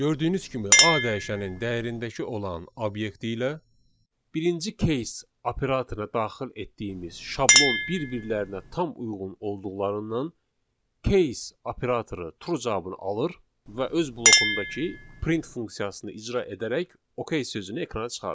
Gördüyünüz kimi A dəyişənin dəyərindəki olan obyekti ilə birinci case operatora daxil etdiyimiz şablon bir-birlərinə tam uyğun olduqlarından case operatoru true cavabı alır və öz blokundakı print funksiyasını icra edərək ok sözünü ekrana çıxarır.